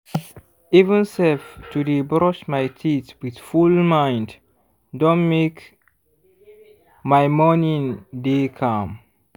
even sef to dey brush my teeth with full mind don make my morning dey calm.